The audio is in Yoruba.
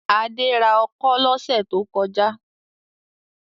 Adé ra ọkọ́ lọ́sẹ̀ tó kọjá?